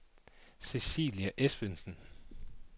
Cecilie Esbensen